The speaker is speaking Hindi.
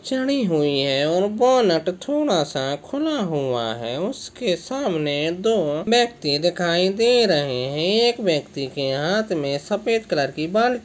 चडी हुई है और बोनट थोड़ासा खुला हुआ है उस के सामने दो व्यक्ति दिखाई दे रहे है एक व्यक्ति के हात मे सफ़ेद कलर की बाल्टी--